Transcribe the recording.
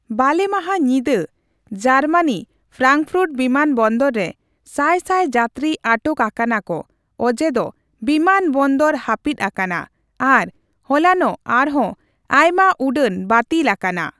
ᱵᱟᱞᱮ ᱢᱟᱦᱟ ᱧᱤᱫᱟᱹ ᱡᱟᱨᱢᱟᱱᱤ ᱯᱷᱨᱟᱝᱯᱷᱩᱴ ᱵᱤᱢᱟᱱᱵᱚᱱᱫᱚᱨ ᱨᱮ ᱥᱟᱭ ᱥᱟᱭ ᱡᱟᱛᱨᱤ ᱟᱴᱚᱠ ᱟᱠᱟᱱᱟ ᱠᱚ ᱚᱡᱮ ᱫᱚ ᱵᱤᱢᱟᱱᱵᱚᱱᱫᱚᱨ ᱦᱟᱯᱤᱫ ᱟᱠᱟᱱᱟ, ᱟᱨ ᱦᱚᱞᱟᱱᱚᱜ ᱟᱨᱦᱚᱸ ᱟᱭᱢᱟ ᱩᱰᱟᱹᱱ ᱵᱟᱹᱛᱤᱞ ᱟᱠᱟᱱᱟ ᱾